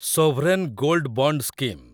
sovereign gold bond scheme